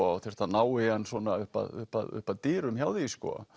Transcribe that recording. og þurfa að ná í hann svona upp að upp að upp að dyrum hjá því